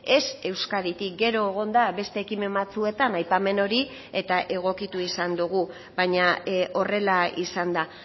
ez euskaditik gero egon da beste ekimen batzuetan aipamen hori eta egokitu izan dugu baina horrela izan da